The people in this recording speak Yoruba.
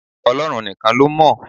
Ọlọ́run nìkan ló mọ̀.